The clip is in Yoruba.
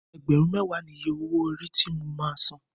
Ẹgbẹ̀rún mẹ́wàá ni iye owó orí ti mo máa san.